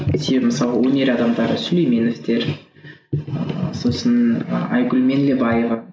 себебі мысалы өнер адамдары сүлейменовтер ыыы сосын ы айгүл меңдебаева